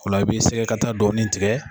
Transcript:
O la, i bi sɛgɛ kata dɔɔni tigɛ.